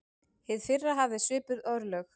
Hið fyrra hafði svipuð örlög.